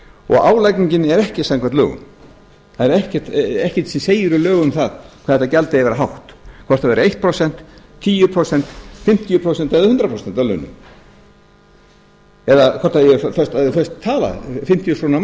og álagningin er ekki samkvæmt lögum það er ekkert sem segir í lögum um það hvað þetta gjald eigi að vera hátt hvort það verður eitt prósent tíu prósent fimmtíu prósent eða hundrað prósent af launum eða hvort það eigi að vera föst tala fimmtíu þúsund krónur á